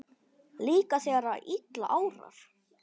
Líka þegar að illa árar?